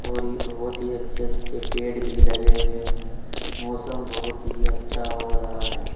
और ये बहोत ही अच्छे अच्छे पेड़ भी लगे हुए हैं मौसम बहोत ही अच्छा हो रहा है।